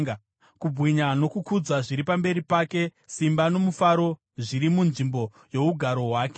Kubwinya nokukudzwa zviri pamberi pake; simba nomufaro zviri munzvimbo yougaro hwake.